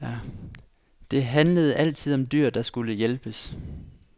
Det handlede altid om dyr, der skulle hjælpes.